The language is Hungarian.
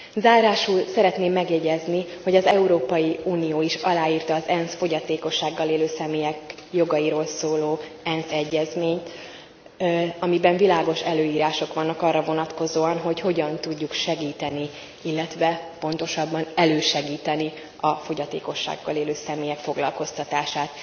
Zárásul szeretném megjegyezni, hogy az Európai Unió is aláírta a fogyatékossággal élő személyek jogairól szóló ENSZ egyezményt, amiben világos előírások vannak arra vonatkozóan, hogy hogyan tudjuk segíteni, pontosabban elősegíteni a fogyatékossággal élő személyek foglalkoztatását.